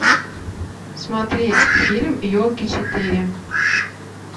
смотреть фильм елки четыре